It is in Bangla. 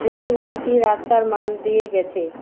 রেল লাইনটি রাস্তার মাঝ দিয়ে গেছে।